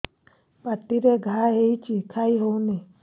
ପାଟିରେ ଘା ହେଇଛି ଖାଇ ହଉନି